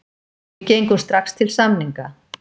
Við gengum strax til samninga.